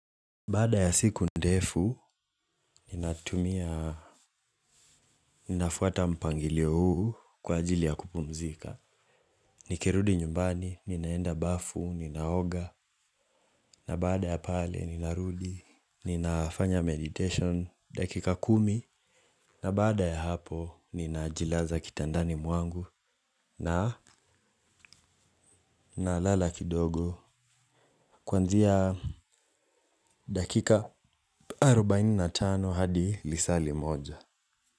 Baada ya siku ndefu, ninatumia, ninafuata mpangilio huu kwa ajili ya kupumzika. Nikirudi nyumbani, ninaenda bafu, ninaoga, na baada ya pale ninarudi, ninafanya meditation, dakika kumi, na baada ya hapo, ninajilaza kitandani mwangu, na nalala kidogo, kwanzia dakika arobaini na tano hadi lisaali moja.